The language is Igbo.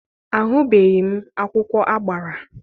Ahụbeghị m akwụkwọ agbara.